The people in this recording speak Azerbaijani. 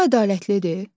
Bu ədalətlidir?